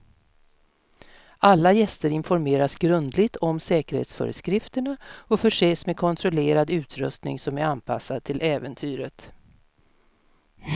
Alla gäster informeras grundligt om säkerhetsföreskrifterna och förses med kontrollerad utrustning som är anpassad till äventyret.